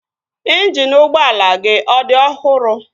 Ịnjini ụgbọala gị ọ dị ọhụrụ?